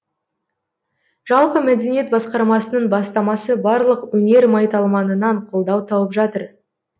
жалпы мәдениет басқарамасының бастамасы барлық өнер майталманынан қолдау тауып жатыр